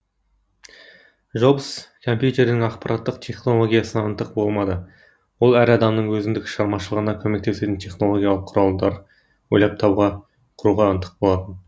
жобс компютердің аппараттық технологиасына ынтық болмады ол әр адамның өзіндік шығармашылығына көмектесетін технологиалық құралдар ойлап табуға құруға ынтық болатын